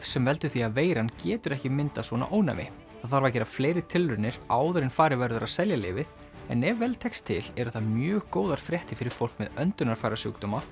sem veldur því að veiran getur ekki myndað ónæmi það þarf að gera fleiri tilraunir áður en farið verður að selja lyfið en ef vel tekst til eru það mjög góðar fréttir fyrir fólk með öndunarfærasjúkdóma